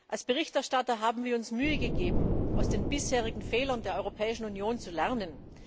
Als Berichterstatter haben wir uns Mühe gegeben, aus den bisherigen Fehlern der Europäischen Union zu lernen.